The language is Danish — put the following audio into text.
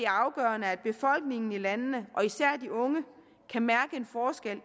afgørende at befolkningen i landene og især de unge kan mærke en forskel